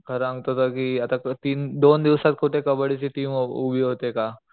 खर सांगतो तर कि आता तीन दोन दिवसात कुठे कबड्डी ची टीम उ उभा होते का.